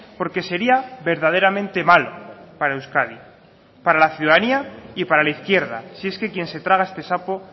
porque sería verdaderamente malo para euskadi para la ciudadanía y para la izquierda si es que quien se traga este sapo